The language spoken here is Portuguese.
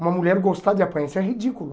Uma mulher gostar de apanhar, isso é ridículo.